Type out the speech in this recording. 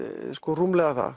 rúmlega það